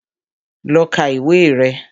Lọ ka ìwé rẹ̀